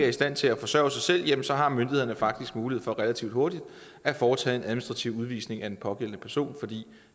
i stand til at forsørge sig selv så har myndighederne faktisk mulighed for relativt hurtigt at foretage en administrativ udvisning af den pågældende person fordi